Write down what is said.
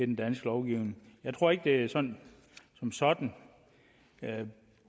den danske lovgivning jeg tror ikke at det som sådan